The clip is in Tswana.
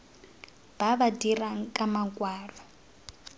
ba ba dirang ka makwalo